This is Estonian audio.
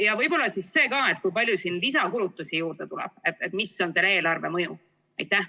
Ja võib-olla see ka, et kui palju lisakulutusi juurde tuleb, mis on selle eelarvemõju?